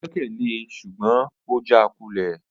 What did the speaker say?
O gbẹkẹle e ṣugbọn o jaakulẹ